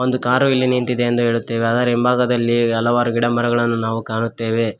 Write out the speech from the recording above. ಒಂದು ಕಾರು ಇಲ್ಲಿ ನಿಂತಿದೆ ಎಂದು ಹೇಳುತ್ತೇವೆ ಅದರ ಹಿಂಭಾಗದಲ್ಲಿ ಗಿಡಮರಗಳನ್ನ ನಾವು ಕಾಣುತ್ತೇವೆ.